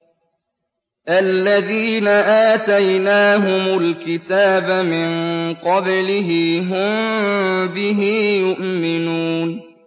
الَّذِينَ آتَيْنَاهُمُ الْكِتَابَ مِن قَبْلِهِ هُم بِهِ يُؤْمِنُونَ